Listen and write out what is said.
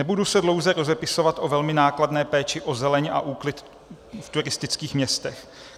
Nebudu se dlouze rozepisovat o velmi nákladné péči o zeleň a úklid v turistických městech.